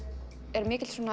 er